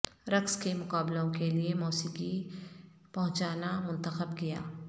رقص کے مقابلوں کے لئے موسیقی پہچانا منتخب کیا